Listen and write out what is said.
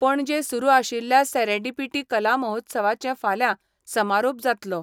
पणजेत सुरू आशिल्ल्या सेरेडेपीटी कला महोत्सवाचे फाल्या समारोप जातलो.